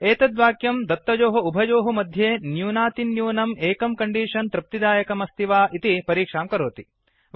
एतत् वाक्यं दत्तयोः उभयोः मध्ये न्यूनातिन्यूनम् एकं कण्डीषन् तृप्तिदायकमस्ति वा इति परीक्षां करोति